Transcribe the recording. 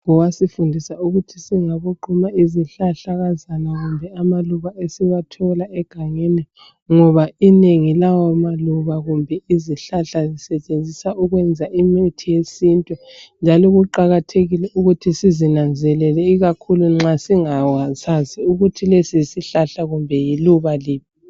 Wasifundisa ukuthi singaboquma izihlahlakazana kumbe lamaluba esiwathola egangeni. Ngoba inengi lawamaluba kumbe izihlahla z!isetshenziswa ukwenza imithi yesintu. Njalo kuqakathekile ukuthi sizinanzelele ikakhulu nxa singasazi ukuthi lesi yisihhlahla kumbe iluba liphi.